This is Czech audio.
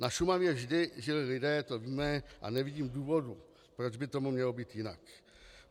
Na Šumavě vždy žili lidé, to víme, a nevidím důvodu, proč by tomu mělo být jinak.